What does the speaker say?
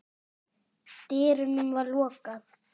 dyrunum var lokað.